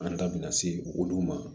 An da bina se olu ma